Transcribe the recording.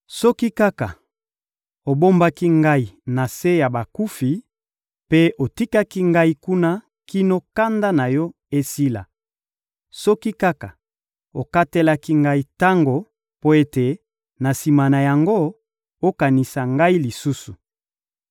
Soki kaka obombaki ngai na se ya bakufi mpe otikaki ngai kuna kino kanda na Yo esila! Soki kaka okatelaki ngai tango mpo ete, na sima na yango, okanisa ngai lisusu!